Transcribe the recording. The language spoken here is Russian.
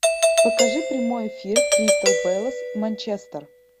покажи прямой эфир кристал пэлас манчестер